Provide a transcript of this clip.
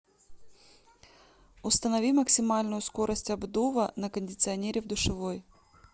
установи максимальную скорость обдува на кондиционере в душевой